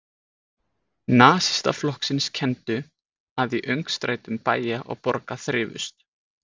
Nasistaflokksins kenndu, að í öngstrætum bæja og borga þrifust